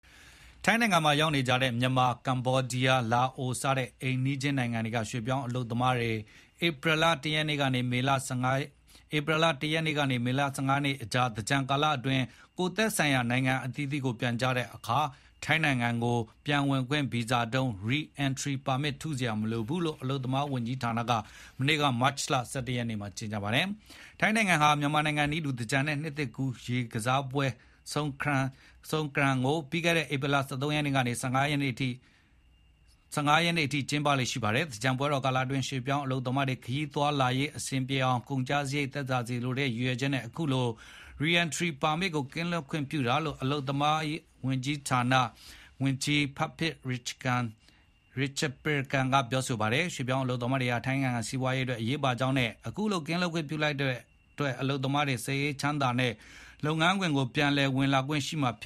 ထိုင်းနိုင်ငံမှာ ရောက်နေကြတဲ့ မြန်မာ၊ ကမ္ဘောဒီးယား၊ လာအို စတဲ့ အိမ်နီးချင်းနိုင်ငံတွေက ရွှေ့ပြောင်းအလုပ်သမားတွေ ဧပြီလ ၁ ရက်ကနေ မေလ ၁၅ ရက်အကြား သင်္ကြန်ကာလအတွင်း ကိုယ့်သက်ဆိုင်ရာ နိုင်ငံအသီးသီးကို ပြန်ကြတဲ့အခါ ထိုင်းနိုင်ငံကို ပြန်ဝင်ခွင့်ဗီဇာတုံး (Re-entry permit) ထုစရာမလိုဘူးလို့ ထိုင်း အလုပ်သမားဝန်ကြီးဌာနက မနေ့ မတ်လ ၁၁ ရက်နေ့မှာ ကြေညာပါတယ်။ ထိုင်းနိုင်ငံဟာ မြန်မာနိုင်ငံနည်းတူ သင်္ကြန်နဲ့ နှစ်သစ်ကူး ရေကစားပွဲ Songkran ကို ဧပြီလ ၁၃ ရက်ကနေ ၁၅ ရက်နေ့အထိ ကျင်းပလေ့ ရှိတာပါ။ သင်္ကြန်ပွဲတော်ကာလအတွင်း ရွှေ့ပြောင်းအလုပ်သမားတွေ ခရီးသွားလာရေး အဆင်ပြေအောင်နဲ့ ကုန်ကျစားရိတ်သက်သာစေလိုတဲ့ ရည်ရွယ်ချက်နဲ့ အခုလို Re-entry permit ကင်းလွှတ်ခွင့်ပြုလိုက်တာလို့ အလုပ်သမားဝန်ကြီး Phiphat Ratchakitprakarn ပြောပါတယ်။ ရွှေ့ပြောင်းအလုပ်သမားတွေဟာ ထိုင်းနိုင်ငံစီးပွားရေးအတွက် အရေးပါကြောင်းနဲ့ အခုလို ကင်းလွှတ်ခွင့်ပြုလိုက်တဲ့အတွက် အလုပ်သမားတွေ စိတ်အေးချမ်းသာစွာနဲ့ လုပ်ငန်းခွင်ကို ပြန်ဝင်လာခွင့် ရှိကြမှာဖြ